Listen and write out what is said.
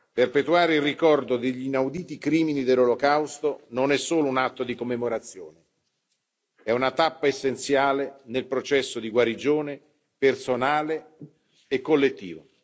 Perpetuare il ricordo degli inauditi crimini dell'Olocausto non è solo un atto di commemorazione è una tappa essenziale nel processo di guarigione personale e collettivo.